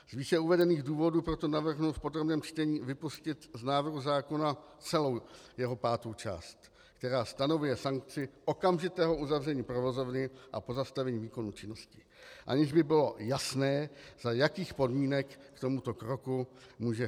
Z výše uvedených důvodů proto navrhnu v podrobném čtení vypustit z návrhu zákona celou jeho pátou část, která stanovuje sankci okamžitého uzavření provozovny a pozastavení výkonu činnosti, aniž by bylo jasné, za jakých podmínek k tomuto kroku může